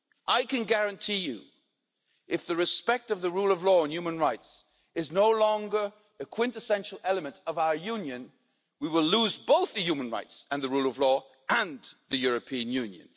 I can guarantee you if respect for the rule of law and human rights is no longer a quintessential element of our Union, we will lose human rights, the rule of law and the European Union.